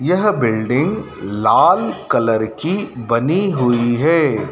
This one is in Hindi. यह बिल्डिंग लाल कलर की बनी हुई है।